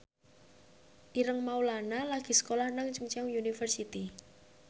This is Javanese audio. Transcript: Ireng Maulana lagi sekolah nang Chungceong University